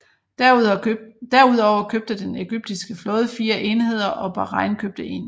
Derudover købte den egyptiske flåde fire enheder og Bahrain købte en